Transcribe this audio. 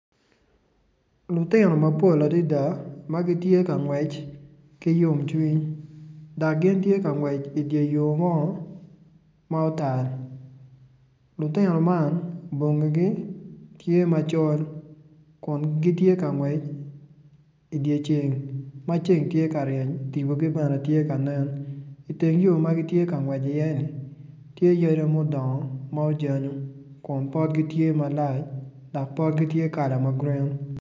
Lutino mapol adada ma gitye ka ngwec ki yomcwiny dok gin tye ka ngwec idye yo mo ma otal lutino man bongigi tye macol kun gin tye ka ngwec idye ceng ma ceng tye ka ryeny tipogi bene tye iteng yo ma gitye ka ngwec iyeni tye yadi mudongo ma ojanyo kun potgi tye malac dok potgi tye kala ma grin.